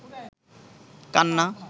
কান্না